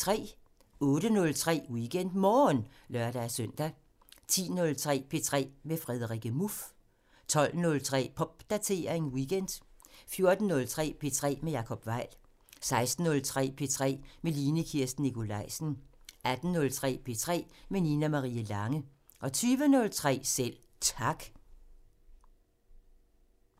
08:03: WeekendMorgen (lør-søn) 10:03: P3 med Frederikke Muff 12:03: Popdatering weekend 14:03: P3 med Jacob Weil 16:03: P3 med Line Kirsten Nikolajsen 18:03: P3 med Nina Marie Lange 20:03: Selv Tak